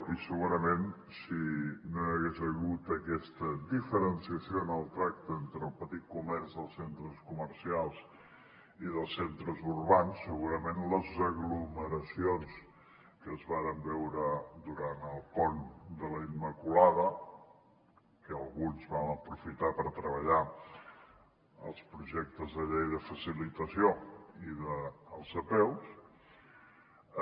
i segurament si no hi hagués hagut aquesta diferenciació en el tracte entre el petit comerç dels centres comercials i dels centres urbans les aglomeracions que es varen veure durant el pont de la immaculada que alguns vam aprofitar per treballar els projectes de llei de facilitació i dels apeus